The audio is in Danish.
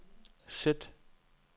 sæt